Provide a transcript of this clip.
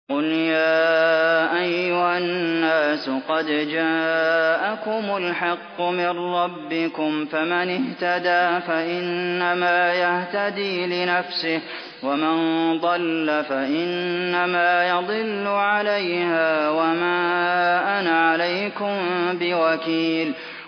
قُلْ يَا أَيُّهَا النَّاسُ قَدْ جَاءَكُمُ الْحَقُّ مِن رَّبِّكُمْ ۖ فَمَنِ اهْتَدَىٰ فَإِنَّمَا يَهْتَدِي لِنَفْسِهِ ۖ وَمَن ضَلَّ فَإِنَّمَا يَضِلُّ عَلَيْهَا ۖ وَمَا أَنَا عَلَيْكُم بِوَكِيلٍ